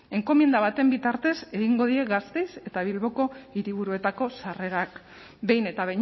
enkomienda baten bitartez egingo dira gasteizko eta bilboko hiriburuetako sarrerak behin eta